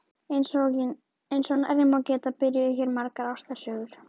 Eins og nærri má geta byrjuðu hér margar ástarsögur.